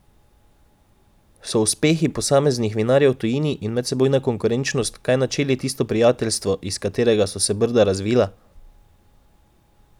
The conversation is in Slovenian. So uspehi posameznih vinarjev v tujini in medsebojna konkurenčnost kaj načeli tisto prijateljstvo, iz katerega so se Brda razvila?